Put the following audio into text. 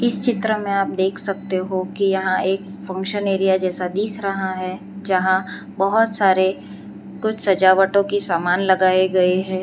चित्र में आप देख सकते हो कि यहां एक फंक्शन एरिया जैसा दिख रहा है जहां बहोत सारे कुछ सजावटो की समान लगाए गए है।